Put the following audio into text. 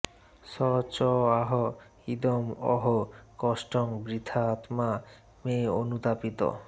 সঃ চ আহ ইদম্ অহো কষ্টং বৃথা আত্মা মে অনুতাপিতঃ